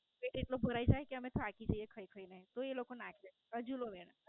એટલી જ તો ભરાય જ જાય કે અમે થાકી જઇયે ખઈ ખઈને. તો એ લોકો નાખે હજુ દો ચો એને